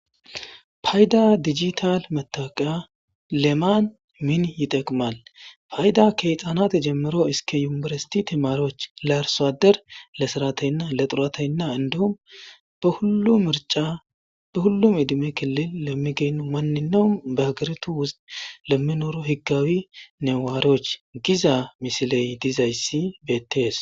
Payda digital metaqa lemaan min yiteqimal fayda keyxaanat jemero iske yumeresiti timaroch larsoader le sarateynna le xurateynna indho marca be hullum idime kilil lemmi gennu manninawu baagertu us lemminoro higgawi newaaroch giza misiley dizayssi bettees.